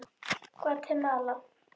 Gvatemala